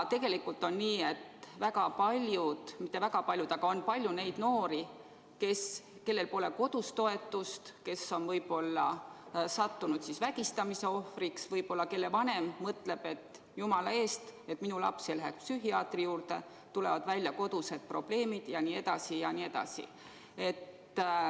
Tegelikult väga palju – mitte väga palju, aga palju – on noori, kellel pole kodus toetust, kes on võib-olla sattunud vägistamise ohvriks või kelle vanem ehk mõtleb, et minu laps jumala eest ei läheks psühhiaatri juurde, kodused probleemid tulevad välja jne, jne.